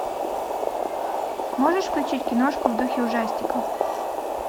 можешь включить киношку в духе ужастика